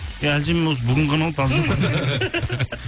иә әлжанмен осы бүгін ғана ғой